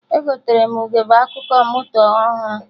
Egotere m ugegbe akụkụ moto ọhụrụ